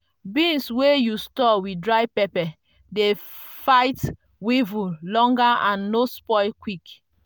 beans wey you store with dry pepper dey fight weevil longer and no spoil quick.